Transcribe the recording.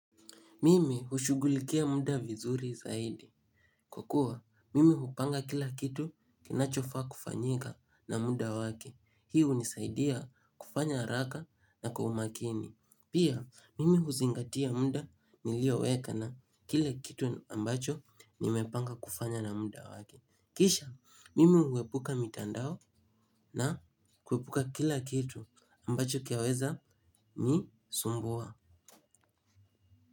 Mimi hushughulikia muda vizuri zaidi. Kwa kuwa, mimi hupanga kila kitu kinachofaa kufanyika na muda wake. Hii hunisaidia, kufanya haraka na kwa umakini. Pia, mimi huzingatia muda, nilioweka na kile kitu ambacho nimepanga kufanya na muda wake. Kisha, mimi huepuka mitandao na huepuka kila kitu, ambacho kiyaweza ni sumbuwa.